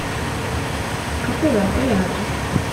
какой у отеля адрес